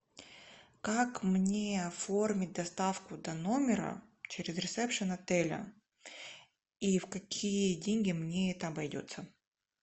как мне оформить доставку до номера через ресепшен отеля и в какие деньги мне это обойдется